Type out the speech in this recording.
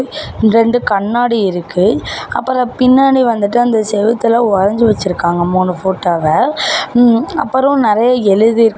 ரெண்டு கண்ணாடி இருக்கு அப்ரோ பின்னாடி வந்துட்டு அந்த செவுத்துல வரைஞ்சு வச்சிருக்காங்க மூணு போட்டோவ ம்ம் அப்புரோ நறைய எழுதி--